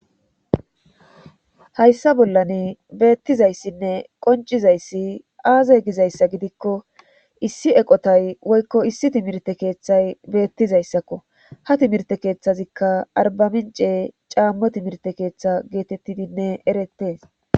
hayssa bollan beettizayssinne qoncizayssi aaza gizayssa gidikko issi eqotay woykko issi timirte keeththay beettizayssakko ha timirte keeththazikka arbamince caammo timirte keeththa geetettidinne erettee